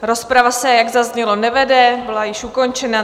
Rozprava se, jak zaznělo, nevede, byla již ukončena.